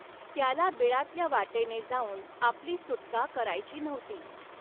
त्याला बिळातल्या वाटेने जाऊन आपली सुटका करायची नव्हती.